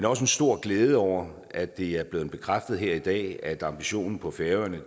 også en stor glæde over at det er blevet bekræftet her i dag at ambitionen på færøerne er